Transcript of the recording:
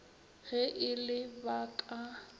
ge e le ba ka